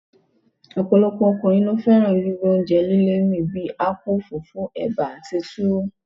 ọ̀pọ̀lọpọ̀ ọkùnrin ló fẹ́ràn gbígbé oúnjẹ líle mì bí akpu, fufu, eba àti tuwo.